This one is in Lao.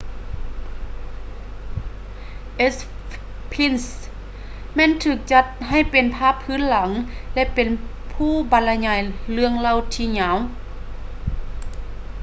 sphinx ແມ່ນຖືກຈັດໃຫ້ເປັນພາບພື້ນຫຼັງ ແລະ ເປັນຜູ້ບັນລະຍາຍເລື່ອງເລົ່າທີ່ຍາວ